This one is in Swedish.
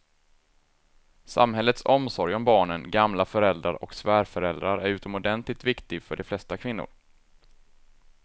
Samhällets omsorg om barnen, gamla föräldrar och svärföräldrar är utomordentligt viktig för de flesta kvinnor.